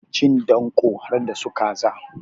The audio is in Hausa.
Cin danko harda su kaza.